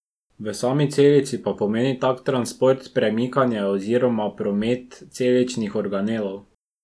V sami celici pa pomeni tak transport premikanje oziroma promet celičnih organelov.